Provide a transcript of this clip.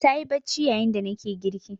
Ta yi bacci yayin da nake girki.